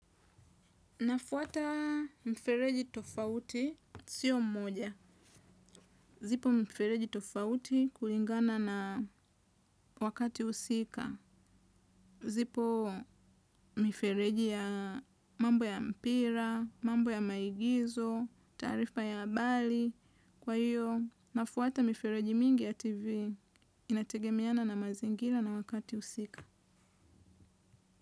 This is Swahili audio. Nafuata mfereji tofauti sio mmoja. Zipo mfereji tofauti kuingana na wakati usika. Zipo mfereji ya mambo ya mpira, mambo ya maigizo, tarifa ya habari. Kwa hiyo, nafuata mfereji mingi ya TV inategemiana na mazingira na wakati usika.